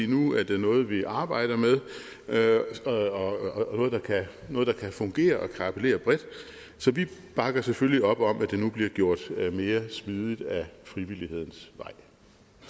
nu er det noget vi arbejder med og noget der kan fungere og kan appellere bredt så vi bakker selvfølgelig op om at det nu bliver gjort mere smidigt ad frivillighedens